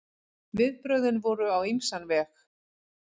Viðbrögðin voru á ýmsan veg.